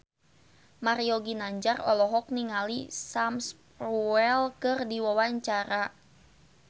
Mario Ginanjar olohok ningali Sam Spruell keur diwawancara